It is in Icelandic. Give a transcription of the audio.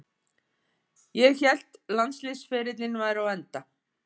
Ég hélt landsliðsferillinn væri á enda.